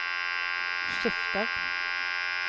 skifter